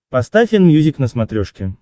поставь энмьюзик на смотрешке